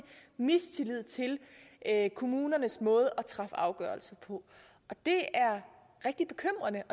mistillid til kommunernes måde at træffe afgørelse på det er rigtig bekymrende